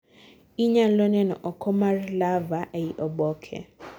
inyalo neno oko mar larvae ei oboke